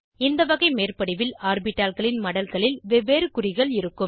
இந்த வகை மேற்படிவில் ஆர்பிட்டால்களின் மடல்களில் வெவ்வேறு குறிகள் இருக்கும்